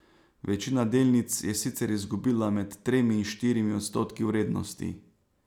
Večina delnic je sicer izgubila med tremi in štirimi odstotki vrednosti.